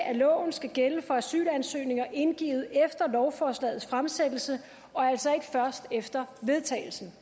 at loven skal gælde for asylansøgninger indgivet efter lovforslagets fremsættelse og altså ikke først efter vedtagelsen